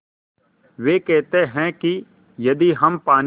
वे कहते हैं कि यदि हम पानी